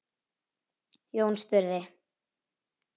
Jón spurði